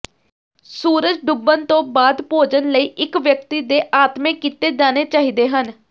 ਸੂਰਜ ਡੁੱਬਣ ਤੋਂ ਬਾਅਦ ਭੋਜਨ ਲਈ ਇੱਕ ਵਿਅਕਤੀ ਦੇ ਆਤਮੇ ਕੀਤੇ ਜਾਣੇ ਚਾਹੀਦੇ ਹਨ